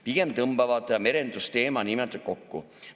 Pigem tõmbavad nad merendusteema nii-öelda kokku.